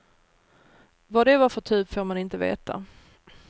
Vad det var för typ får man inte veta.